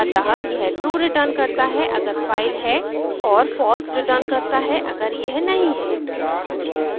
अतः यह true return करता है अगर फाइल है और false return करता है अगर यह नहीं है